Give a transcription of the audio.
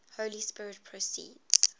holy spirit proceeds